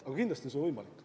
Aga kindlasti on see võimalik.